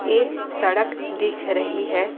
एक सड़क दिख रही है।